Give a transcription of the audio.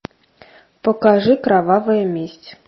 покажи кровавая месть